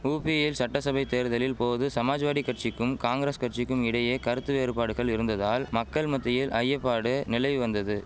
உபியில் சட்டசபை தேர்தலில் போது சமாஜ்வாடி கட்சிக்கும் காங்கிரஸ் கட்சிக்கும் இடையே கருத்து வேறுபாடுகள் இருந்ததால் மக்கள் மத்தியில் ஐயபாடு நிலவி வந்தது